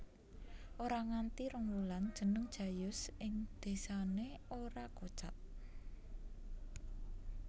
Ora nganti rong wulan jeneng Jayus ing désane ora kocap